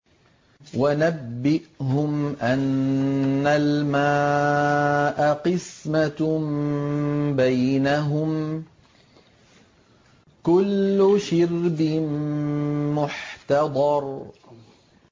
وَنَبِّئْهُمْ أَنَّ الْمَاءَ قِسْمَةٌ بَيْنَهُمْ ۖ كُلُّ شِرْبٍ مُّحْتَضَرٌ